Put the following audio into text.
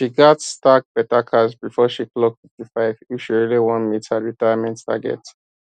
she gats stack better cash before she clock fifty five if she really wan meet her retirement target